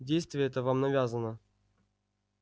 действие это вам навязано